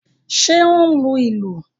Ṣé ó ń lu ìlù?